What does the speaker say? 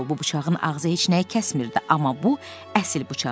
Doğrudur, bu bıçağın ağzı heç nəyi kəsmirdi, amma bu əsil bıçaq idi.